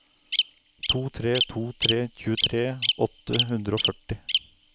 to tre to tre tjuetre åtte hundre og førti